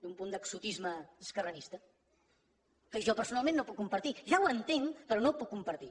té un punt d’exotisme esquerranista que jo personalment no puc compartir ja ho entenc però no ho puc compartir